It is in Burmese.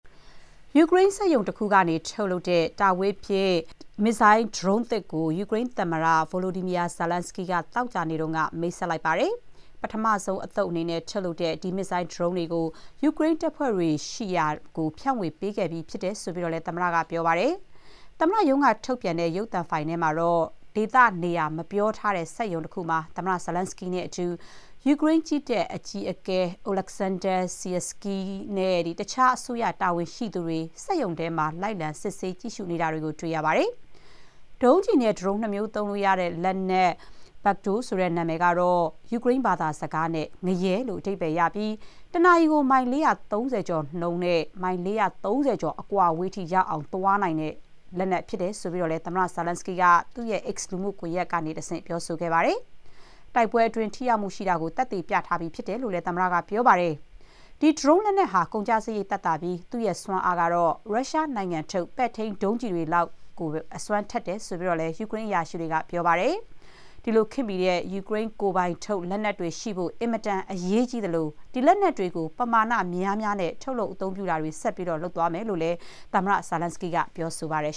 ယူကရိန်းစက်ရုံတခုမှာ ထုတ်လုပ်တဲ့ တာဝေးပစ် "Peklo" မစ်ဇိုင်း ဒရုန်းသစ်ကို ယူကရိန်းသမ္မတ Volodymyr Zelenskyy က သောကြာနေ့က မိတ်ဆက်လိုက်ပါတယ်။ ပထမဆုံး အသုတ်အနေနဲ့ ထုတ်လုပ်တဲ့ ဒီမစ်ဇိုင်းဒရုန်းတွေကို ယူကရိန်းတပ်ဖွဲ့တွေရှိရာ ဖြန့်ဝေ ပေးခဲ့ပြီးကြောင်းလည်း သမ္မတက ပြောပါတယ်။ သမ္မတ ရုံးကထုတ်ပြန်တဲ့ ရုပ်သံဖိုင်ထဲမှာတော့ ဒေသနေရာ မပြောထားတဲ့ စက်ရုံတခုမှာ သမ္မတ Zelenskyy နဲ့အတူ ယူကရိန်း ကြည်းတပ် အကြီးအကဲ အိုလက်ဆန်းဒါး ဆီယာစကီး Oleksandr Syrskyi နဲ့ တခြား အစိုးရ တာဝန်ရှိသူတွေ စက်ရုံထဲမှာ လိုက်လံ စစ်ဆေး ကြည့်ရှုနေတာကို တွေ့ရပါတယ်။ ဒုံးကျည်နဲ့ ဒရုန်း နှစ်မျိုးသုံးရတဲ့ လက်နက် Peklo ဆိုတဲ့ နာမည်က ယူကရိန်း ဘာသာစကားနဲ့ ငရဲ လို့ အဓိပ္ပါယ် ရပြီး တနာရီကို မိုင် ၄၃၀ ကျော် နှုန်းနဲ့ မိုင် ၄၃၀ ကျော် အဝေးထိရောက်အောင် သွားနိုင်တဲ့အကြောင်းလည်း သမ္မတ Zelenskyy က သူ့ရဲ့ X လူမှုကွန်ရက်ကတဆင့် ပြောခဲ့ပါတယ်။ တိုက်ပွဲအတွင်း ထိရောက်မှုရှိတာကို သက်သေ ပြထားပြီး ဖြစ်တယ်လို့လည်း သမ္မတက ပြောပါတယ်။ ဒီဒရုန်း လက်နက်တွေဟာ ကုန်ကျစရိတ် သက်သာပြီး သူ့ရဲ့စွမ်းအား ကတော့ ရုရှားနိုင်ငံထုတ် ပဲ့ထိန်းဒုံးကျည်တွေ လောက်အထိကို အစွမ်းထက်တယ်လို့ ယူကရိန်းအရာရှိတွေကလည်း ပြောပါတယ်။ ဒီလို ခေတ်မီတဲ့ ယူကရိန်းကိုယ်ပိုင်ထုတ် လက်နက်တွေ ရှိဖို့ အင်မတန် အရေးကြီးသလို၊ ဒီလက်နက်တွေကို ပမာဏများများနဲ့ ထုတ်လုပ် အသုံးပြုတာတွေ ဆက်လုပ်သွားမယ်လို့လည်း သမ္မတ Zelenskyy က ပြောပါတယ်